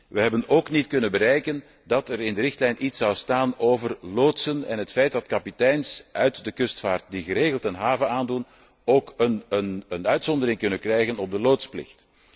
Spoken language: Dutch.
We hebben evenmin kunnen bereiken dat er in de richtlijn iets zal staan over loodsen en het feit dat kapiteins uit de kustvaart die geregeld een haven aandoen, ook een ontheffing kunnen krijgen van de loodsplicht.